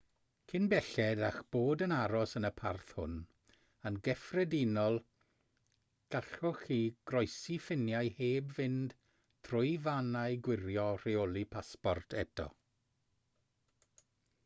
cyn belled â'ch bod yn aros yn y parth hwn yn gyffredinol gallwch chi groesi ffiniau heb fynd trwy fannau gwirio rheoli pasport eto